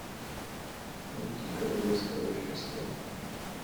найти королевское рождество